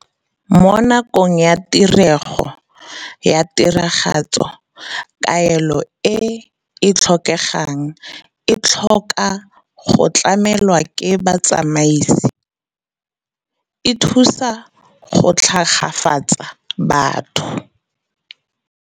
Mo nakong ya tirego ya tiragatso kaelo e e tlhokegang e tlhoka go tlamelwa ke botsamaisi, e thusa go tlhagafatsa batho.